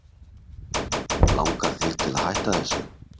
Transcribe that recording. Langar þig til þess að hætta þessu?